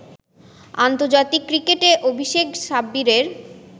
আন্তর্জাতিক ক্রিকেটে অভিষেক সাব্বিরের